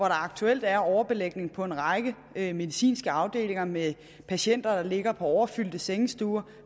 aktuelt er overbelægning på en række medicinske afdelinger med patienter der ligger på overfyldte sengestuer